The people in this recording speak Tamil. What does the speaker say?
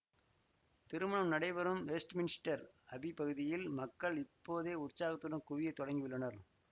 திருமணம் நடைபெறும் வெஸ்ட்மின்ஸ்டர் அபி பகுதியில் மக்கள் இப்போதே உற்சாகத்துடன் குவிய தொடங்கியுள்ளனர்